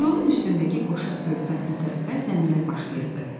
Yolun üstündəki qoşa söyütdən o tərəfə zəmilər başlayırdı.